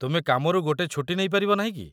ତୁମେ କାମରୁ ଗୋଟେ ଛୁଟି ନେଇପାରିବ ନାହିଁ କି?